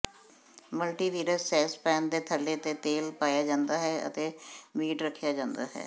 ਮਲਟੀਵਿਅਰਸ saucepan ਦੇ ਥੱਲੇ ਤੇ ਤੇਲ ਪਾਇਆ ਜਾਂਦਾ ਹੈ ਅਤੇ ਮੀਟ ਰੱਖਿਆ ਜਾਂਦਾ ਹੈ